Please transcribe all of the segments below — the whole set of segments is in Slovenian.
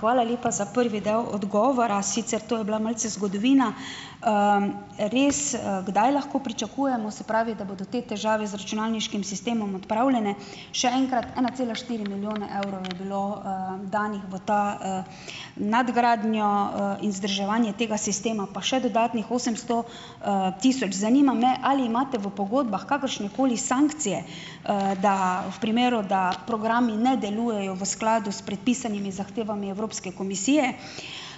Hvala lepa za prvi del odgovora. Sicer to je bila malce zgodovina. Res, kdaj lahko pričakujemo, se pravi, da bodo te težave z računalniškim sistemom odpravljene še enkrat, ena cela štiri milijone evrov je bilo, danih v to, nadgradnjo, vzdrževanje tega sistema, pa še dodatnih osemsto, tisoč. Zanima me, ali imate v pogodbah kakršnekoli sankcije, da v primeru, da programi ne delujejo v skladu s predpisanimi zahtevami Evropske komisije.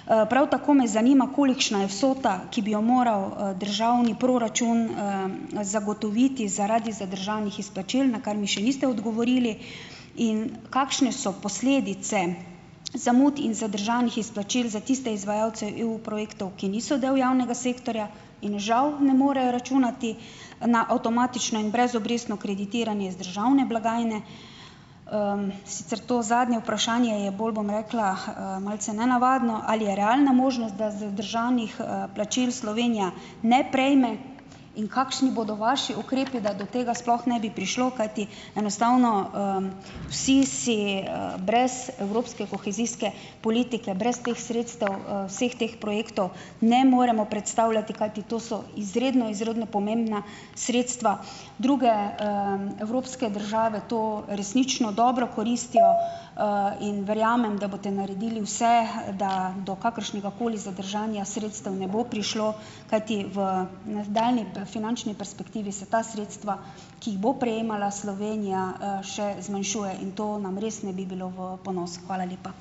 Prav tako me zanima, kolikšna je vsota, ki bi jo moral, državni proračun, zagotoviti zaradi zadržanih izplačil, na kar mi še niste odgovorili. In kakšne so posledice zamud in zadržanih izplačil za tiste izvajalce EU projektov, ki niso del javnega sektorja in žal ne morejo računati na avtomatično in brezobrestno kreditiranje iz državne blagajne? Sicer to zadnje vprašanje je bolj, bom rekla, malce nenavadno. Ali je realna možnost, da zadržanih, plačil Slovenija ne prejme? In kakšni bodo vaši ukrepi, da do tega sploh ne bi prišlo? Kajti enostavno, vsi si, brez evropske kohezijske politike, brez teh sredstev, vseh teh projektov ne moremo predstavljati. Kajti to so izredno izredno pomembna sredstva. Druge, evropske države to resnično dobro koristijo. In verjamem, da boste naredili vse, da do kakršnegakoli zadržanja sredstev ne bo prišlo. Kajti v nadaljnji finančni perspektivi se ta sredstva, ki bo prejemala Slovenija, še zmanjšuje. In to nam res ne bi bilo v ponos. Hvala lepa.